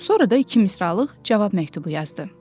Sonra da iki misralıq cavab məktubu yazdı.